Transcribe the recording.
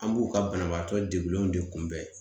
An b'u ka banabaatɔ degulenw de kunbɛn